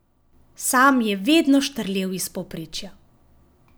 Sam je vedno štrlel iz povprečja.